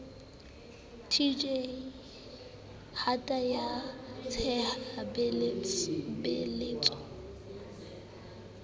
tj hata ya tshe beletso